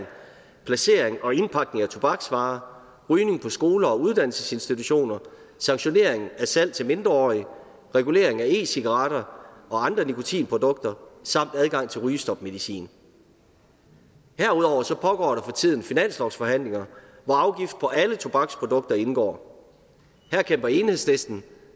placering og indpakning af tobaksvarer rygning på skoler og uddannelsesinstitutioner sanktionering af salg til mindreårige regulering af e cigaretter og andre nikotinprodukter samt adgang til rygestopmedicin herudover pågår der for tiden finanslovsforhandlinger hvor afgift på alle tobaksprodukter indgår her kæmper enhedslisten